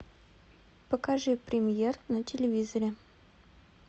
покажи премьер на телевизоре